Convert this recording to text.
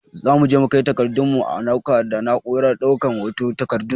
Zamu je mu kai takardun mu a ɗauka da na'urar ɗaukan hoton takardu